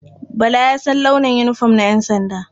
Bala ya san launin yinifom na ƴansanda.